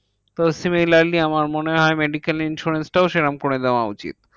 তো similarly আমার মনে হয় medical insurance টাও সেরম করে দেওয়া উচিত।